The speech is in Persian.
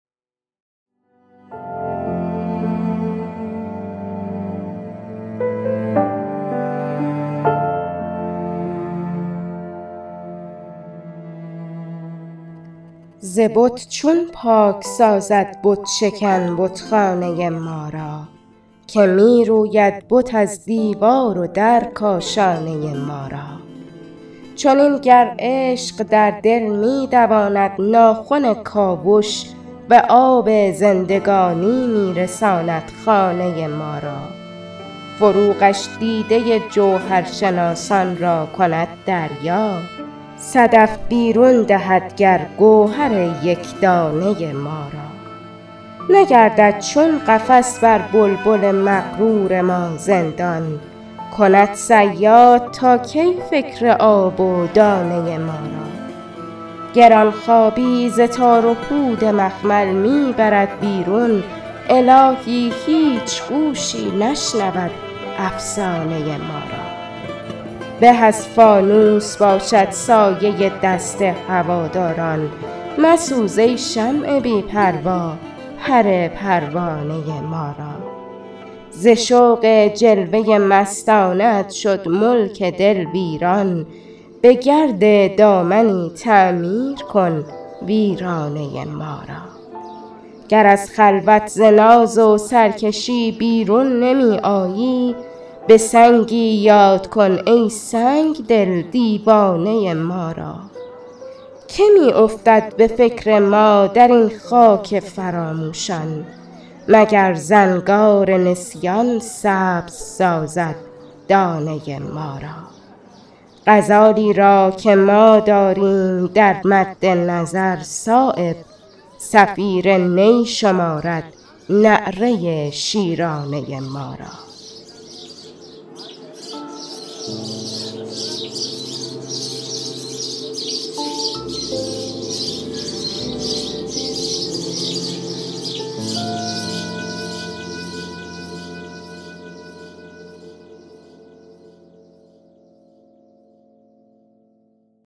ز بت چون پاک سازد بت شکن بتخانه ما را که می روید بت از دیوار و در کاشانه ما را چنین گر عشق در دل می دواند ناخن کاوش به آب زندگانی می رساند خانه ما را فروغش دیده جوهرشناسان را کند دریا صدف بیرون دهد گر گوهر یکدانه ما را نگردد چون قفس بر بلبل مغرور ما زندان کند صیاد تا کی فکر آب و دانه ما را گرانخوابی ز تار و پود مخمل می برد بیرون الهی هیچ گوشی نشنود افسانه ما را به از فانوس باشد سایه دست هواداران مسوز ای شمع بی پروا پر پروانه ما را ز شوق جلوه مستانه ات شد ملک دل ویران به گرد دامنی تعمیر کن ویرانه ما را گر از خلوت ز ناز و سرکشی بیرون نمی آیی به سنگی یاد کن ای سنگدل دیوانه ما را که می افتد به فکر ما درین خاک فراموشان مگر زنگار نسیان سبز سازد دانه ما را غزالی را که ما داریم در مد نظر صایب صفیر نی شمارد نعره شیرانه ما را